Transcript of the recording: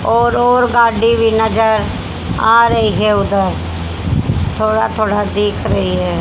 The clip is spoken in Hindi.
और और गाड़ी भीं नजर आ रहीं हैं उधर थोड़ा थोड़ा देख रहीं हैं।